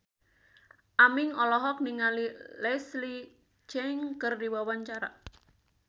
Aming olohok ningali Leslie Cheung keur diwawancara